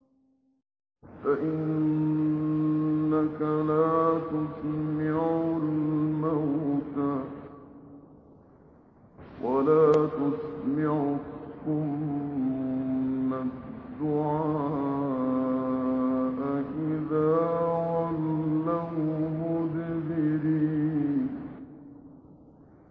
فَإِنَّكَ لَا تُسْمِعُ الْمَوْتَىٰ وَلَا تُسْمِعُ الصُّمَّ الدُّعَاءَ إِذَا وَلَّوْا مُدْبِرِينَ